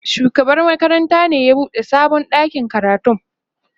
shugaban makarantar ne ya buɗe sabon ɗakin karatun.